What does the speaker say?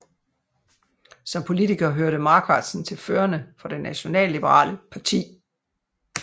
Som politiker hørte Marquardsen til førerne for det nationalliberale parti